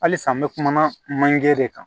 Halisa n bɛ kuma manje de kan